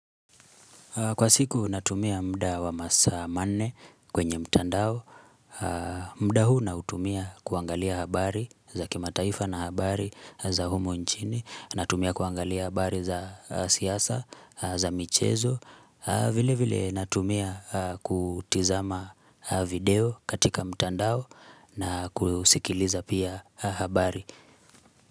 Kwa siku natumia muda wa masaa manne kwenye mtandao. Muda huu nautumia kuangalia habari za kimataifa na habari za humu nchini, natumia kuangalia habari za siasa, za michezo vile vile natumia kutazama video katika mtandao na kusikiliza pia habari.